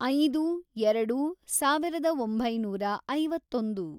ಐದು, ಎರೆಡು, ಸಾವಿರದ ಒಂಬೈನೂರ ಐವತ್ತೊಂದು